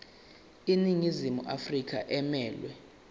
iningizimu afrika emelwe